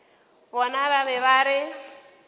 bona ba be ba re